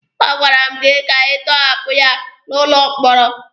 A gwara m gị ka ị tọhapụ ya n'ụlọ mkpọrọ!